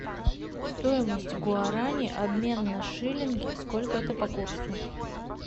стоимость гуарани обмен на шиллинги сколько это по курсу